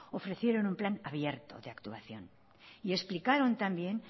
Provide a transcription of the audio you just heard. ofrecieron un plan abierto de actuación y explicaron también